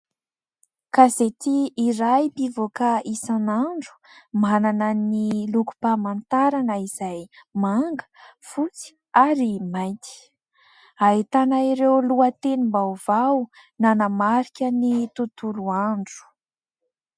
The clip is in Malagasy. Gazety iray mpivoaka isan'andro, manana ny lokom-pamantarana izay manga, fotsy ary mainty. Ahitana ireo lohatenim-baovao nanamarika ny tontolo andro. ..